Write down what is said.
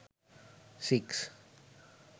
six